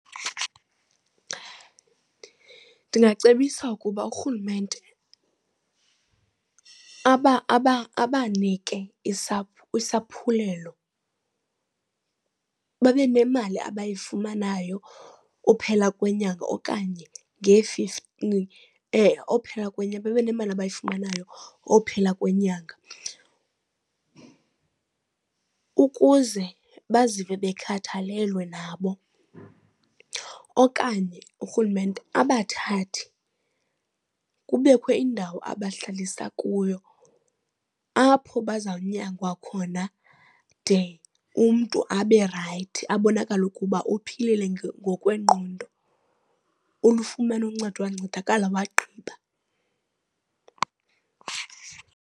Ndingacebisa ukuba urhulumente abanike isaphulelo babe nemali abayifumanayo uphela kwenyanga okanye uphela kwenyanga babe nemali abayifumanayo ophela kwenyanga ukuze bazive bekhathalelwe nabo. Okanye urhulumente abathathe kubekho iindawo abahlalisa kuyo apho baza kunyangwa khona de umntu abe rayithi, abonakale ukuba uphilile ngokwengqondo ulufumene uncedo, wancedakala wagqiba.